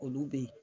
Olu bɛ ye